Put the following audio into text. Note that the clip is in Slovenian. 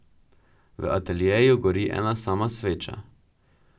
V ateljeju gori ena sama sveča.